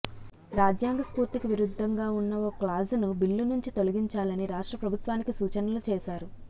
రాజ్యాంగ స్ఫూర్తికి విరుద్ధంగా ఉన్న ఓ క్లాజును బిల్లు నుంచి తొలగించాలని రాష్ట్ర ప్రభుత్వానికి సూచనలు చేశారు